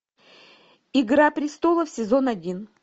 игра престолов сезон один